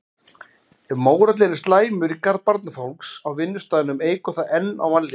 Ef mórallinn er slæmur í garð barnafólks á vinnustaðnum eykur það enn á vanlíðanina.